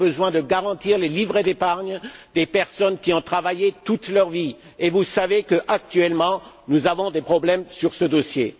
Nous avons besoin de garantir les livrets d'épargne des personnes qui ont travaillé toute leur vie, et vous savez qu'actuellement, nous avons des problèmes sur ce dossier.